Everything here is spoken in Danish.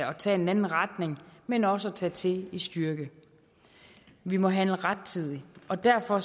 og tage en anden retning men også kan tage til i styrke vi må handle rettidigt og derfor